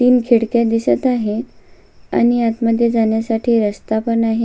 तीन खिडक्या दिसत आहे आणि आत मध्ये जाण्यासाठी रस्ता पण आहे.